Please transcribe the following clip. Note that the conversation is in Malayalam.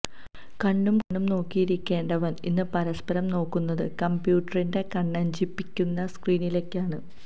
കണ്ണും കണ്ണും നോക്കിയിരിക്കേണ്ടവൻ ഇന്ന് പരസ്പരം നോക്കുന്നത് കന്പ്യൂട്ടറിന്റെ കണ്ണഞ്ചിപ്പിക്കുന്ന സ്ക്രീനിലേക്കാണ്